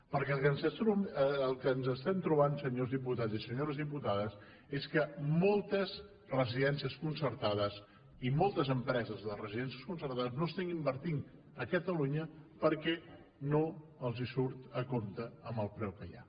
perquè el que ens estem trobant senyors diputats i senyores diputades és que moltes residències concertades i moltes empreses de residències concertades no estan invertint a catalunya perquè no els surt a compte amb el preu que hi ha